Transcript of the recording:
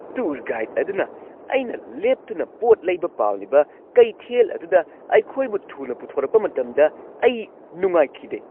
Tour guide ꯑꯗꯨꯅ ꯑꯩꯅ ꯂꯦꯞꯇꯨꯅ ꯄꯣꯠ ꯂꯩꯕ ꯄꯥꯝꯂꯤꯕ ꯀꯩꯊꯦꯜ ꯑꯗꯨꯗ ꯑꯩꯈꯣꯏꯕꯨ ꯊꯨꯅ ꯄꯨꯊꯣꯔꯛꯄ ꯃꯇꯝꯗ ꯑꯩ ꯅꯨꯡꯉꯥꯏꯈꯤꯗꯦ ꯫